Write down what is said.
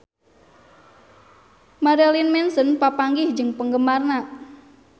Marilyn Manson papanggih jeung penggemarna